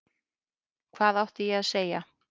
Hvað átti ég að segja?